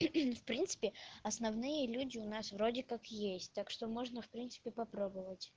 в принципе основные люди у нас вроде как есть так что можно в принципе попробовать